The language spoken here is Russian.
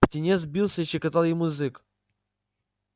птенец бился и щекотал ему язык